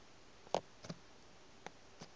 e diphaephe t eo di